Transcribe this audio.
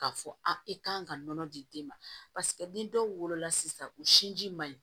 K'a fɔ a i kan ka nɔnɔ di den ma ni dɔw wolola sisan u sinji man ɲi